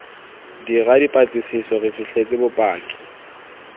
dira dipatlisiso re fitlhetse bopaki